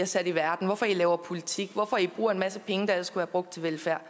sat i verden hvorfor i laver politik hvorfor i bruger en masse penge der ellers været brugt til velfærd